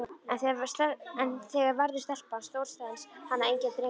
En þegar verður stelpan stór stenst hana enginn drengur.